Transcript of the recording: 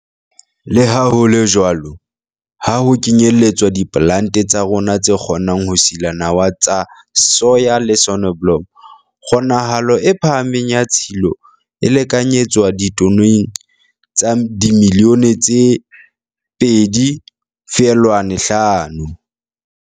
Le ha ho le jwalo, ha ho kenyeletswa diplante tsa rona tse kgonang ho sila nawa tsa soya le soneblomo, kgonahalo e phahameng ya tshilo e lekanyetswa ditoneng tsa dimilione tse 2, 5.